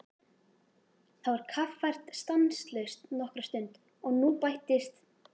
Það var kaffært stanslaust nokkra stund og nú bættist